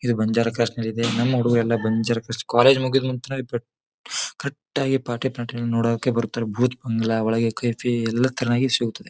ಇದು ಬಂಜಾರ ಕ್ರೋಸ್ನಲ್ಲಿದೆ ನಮ್ ಹುಡುಗ್ರು ಎಲ್ಲ ಬಂಜಾರ್ ಕ್ರಾಸ್ ಕಾಲೇಜು ಮುಗಿದ್ ನಂತರ ಪಟ್ ಕರ್ರೆಕ್ಟ್ ಆಗಿ ಪಾಟೀಲ್ ಪ್ಲಾನೆಟ್ನೋಡೋಕೆ ಬರ್ತಾರೆ ಬೂತ್ ಬಂಗಲೆ ಒಳಗೆ ಎಲ್ಲಾ ಐತೆ ಎಲ್ಲಾ ತಾನಾಗೇ ಸಿಗುತ್ತದೆ.